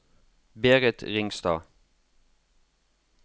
Berit Ringstad